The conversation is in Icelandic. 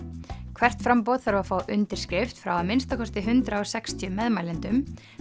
hvert framboð þarf að fá undirskrift frá að minnsta kosti hundrað og sextíu meðmælendum